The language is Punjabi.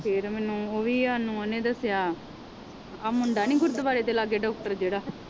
ਫਿਰ ਮੈਨੂੰ ਉਹ ਵੀ ਸਾਨੂੰ ਉਹਨੇ ਦੱਸਿਆ ਆਹ ਮੁੰਡਾ ਨੀ ਗੁਰਦੁਆਰੇ ਦੇ ਲਾਗੇ ਡਾਕਟਰ ਜਿਹੜਾ